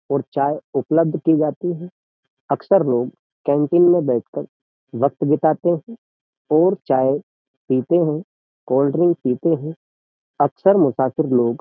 और चाय उपलब्ध की जाती है अक्सर लोग कैंटीन में बैठकर वक्त बिताते हैं और चाय पीते हैं कोल्ड्रिंक पीते हैं अक्सर मुसाफिर लोग --